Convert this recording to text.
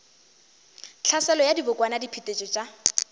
tlhaselo ya dibokwana diphetetšo tša